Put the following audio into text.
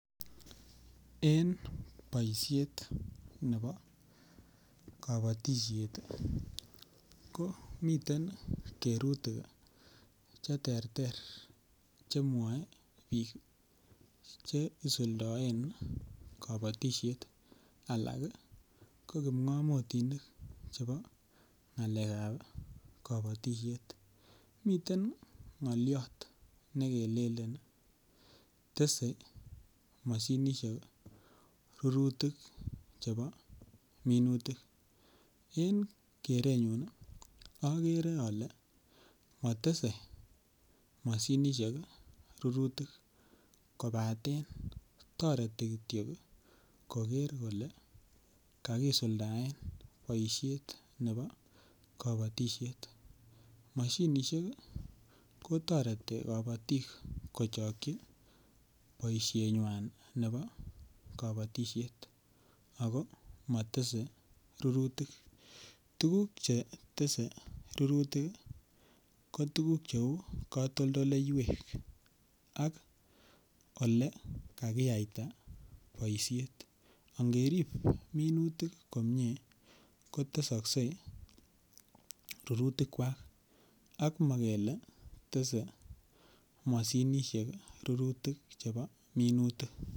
En boishet nebo kobotishet ii ko miten kerutik che terter chemwoe biik che isuldoen kobotishet anan ko kimngomotinik chebo ngalekab kobotishet, miten ngoliot ne kelelen tese Moshinishek rurutik chebo minutik en kerenyun ogere ole motese Moshinishek rurutik kobaten toreti kityo ii koger kole kakisuldaen boishet nebo kobotishet, Moshinishek ko toreti kobotik kochokyi boishenywan nebo kobotishet ako motese rurutik. Tuguk che tese rurutik ko tuguk che uu kotoldoleywek ak ole kakiyayta boishet ak ngerib minutik komie ko tesokse rurutikwak ak mokele tese Moshinishek rurutik chebo minutik